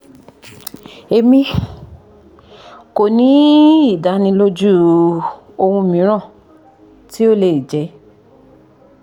emi ko ni idaniloju ohun miiran ti o le jẹ